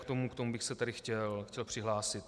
K tomu bych se tady chtěl přihlásit.